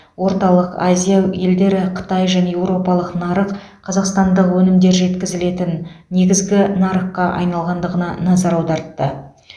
орталық азия елдері қытай және еуропалық нарық қазақстандық өнімдер жеткізілетін негізгі нарыққа айналғандығына назар аудартты